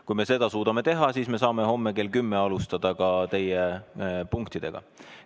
Kui me seda suudame teha, siis me saame homme kell 10 alustada ka teie punktidega.